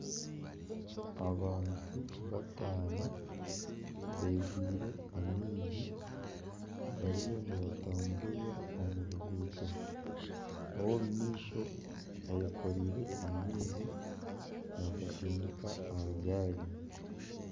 Abantu bataano begwire amaizi bariyo nibatamburira omu ruguuto. Ow'omu maisho ayekoreire amaizi naagasindika aha gaari.